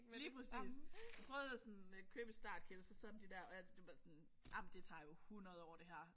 Lige præcis. Jeg prøvede at sådan købe et startkit og så sidde med de der og det var sådan ej men det tager jo 100 år det her